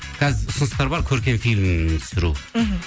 қазір ұсыныстар бар көркем фильм түсіру мхм